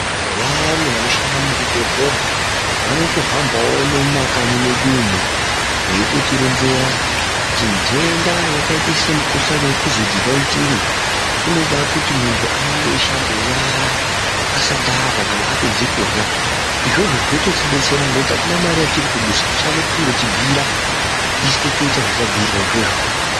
Vayani vanoshanda muzvibhedhlera vanotohambawo nemumakanyi mwedu umwu veitotironzera kuti ntenda yakaita semukuhlani wekovhidhi 19 unoda kuti muntu arambe eishambe nyara asati arya kana apedze kurya izvozvo zvinototidetsera nekuti atina mari yatiri kudusa chavo kungotibhuyira isu totoita zvatabhuyirwa izvozvo.